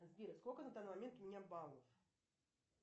сбер сколько на данный момент у меня баллов